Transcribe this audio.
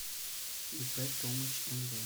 ип томыч нв